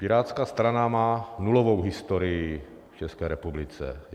Pirátská strana má nulovou historii v České republice.